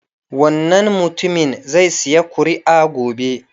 Wannan mutumin zai sayi kuri'a gobe.